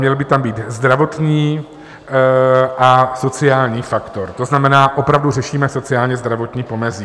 Měl by tam být zdravotní a sociální faktor, to znamená, opravdu řešíme sociálně zdravotní pomezí.